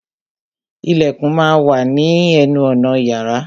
Ìlẹ̀kùn má a wà ní ní ẹnu ọ̀nà yàrá.